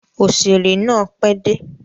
Òṣèrè náà pẹ́ dé.